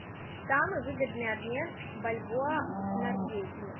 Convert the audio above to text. самый выгодный обмен бальбоа в норвегии